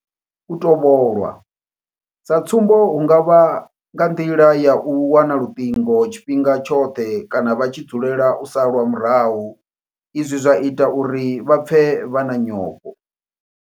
U tovhola sa tsumbo hu nga vha nga nḓila ya u wana luṱingo tshifhinga tshoṱhe kana vha tshi dzulela u salwa murahu izwi zwa ita uri vha pfe vha na nyofho.